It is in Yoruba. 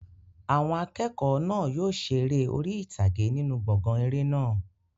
Àwọn akẹ́kọ̀ọ́ náà yóò ṣe eré orí ìtàgé nínú gbọ̀ngàn eré náà.